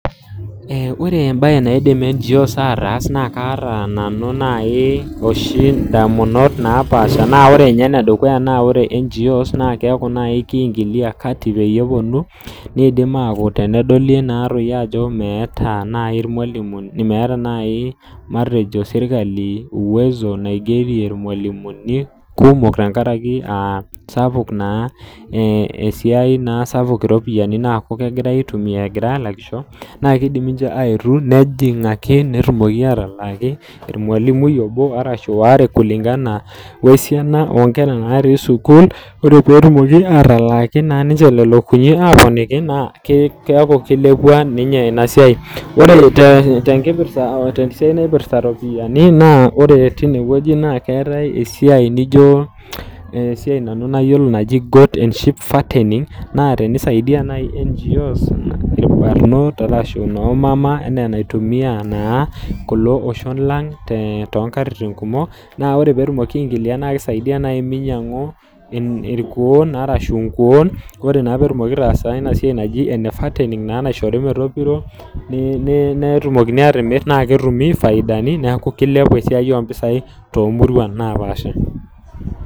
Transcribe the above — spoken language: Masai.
Ore embae edukuya naidim NGOs aatas naa kaata oshi nanu indamunot napaasha naa ore ninye enedukuya naa ore NGOs naa keeku nai keingilia kati peyie epuonu nidim aaku tenedoli naa toi ajo meeta nai irmwalimuni meeta nai matejo sirkali enkidimata naigerie irmwalimuni kumok tengaraki sapuk esiai esiai naa kumok iropiani naaku naa kegirai aitumia egirai alakisho naa keidim ninche ayetu nejing ake netumoki atalaaki ormwalimui obo ashu waare eilingana wo nkera natii sukuul ore peetumoki naa ninche atalaaki naa lelo kulie aponiki naa keeku keilepua ninye ena siai Ore tenkipirta tesiai naipirta iropiani naa ore tinewueji naa keetae esiai nijo esiai nanu nayiolo naji goat and sheep fattening naa tenisaidia nai NGOs ilbarnot arashu noomama naitumia naa kulo oshon lang' tonkatitin kumok naa ore peetumoki aingilia naa kisaidia naaji minyangu ilkuon naa nai arashu inkuon ore ina peetumoki aitaasa ina siai naji enefattening naa naishori metopiro netumokini atimir naa ketumi faidani naa kilepu esiai oompisai toomuruan napaasha